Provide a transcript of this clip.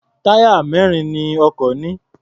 Táyà mẹ́rin ni ọkọ̀ ní.